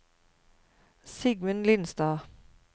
Sigmund Lindstad